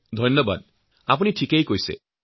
ধন্যবাদ আপুনি সঠিক কথা কৈছে